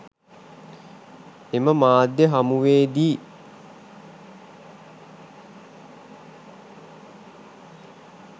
එම මාධ්‍ය හමුවේදී